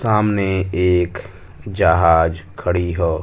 सामने एक जहाज खड़ी ह।